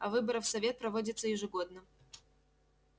а выборы в совет проводятся ежегодно